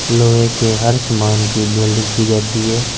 लोहे के हर सामान के वेल्डिंग की जाती है ।